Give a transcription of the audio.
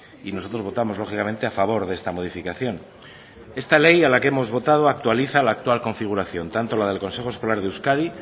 y nosotros votamos lógicamente a favor de esta modificación esta ley a la que hemos votado actualiza la actual configuración tanto la del consejo escolar de euskadi